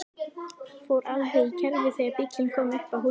Fór alveg í kerfi þegar bíllinn kom upp að húsinu.